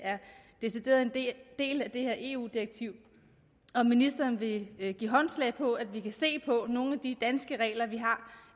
decideret er en del af det her eu direktiv om ministeren vil give håndslag på at vi kan se på nogle af de danske regler vi har